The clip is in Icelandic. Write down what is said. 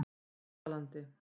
Laugalandi